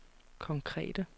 konkrete